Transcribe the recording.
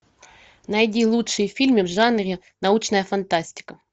найди лучшие фильмы в жанре научная фантастика